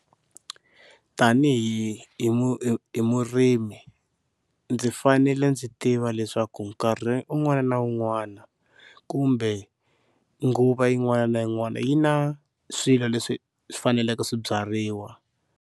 Tanihi hi hi murimi ndzi fanele ndzi tiva leswaku nkarhi un'wana na un'wana kumbe nguva yin'wana na yin'wana yi na swilo leswi swi faneleke swi byariwa.